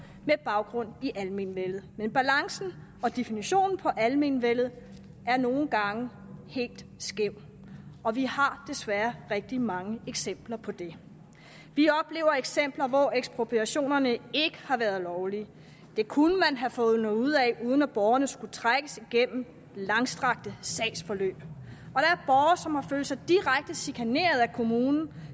med baggrund i almenvellet men balancen og definitionen på almenvellet er nogle gange helt skæv og vi har desværre rigtig mange eksempler på det vi oplever eksempler hvor ekspropriationerne ikke har været lovlige det kunne man have fundet ud af uden at borgerne skulle trækkes igennem langstrakte sagsforløb og sig direkte chikaneret af kommunen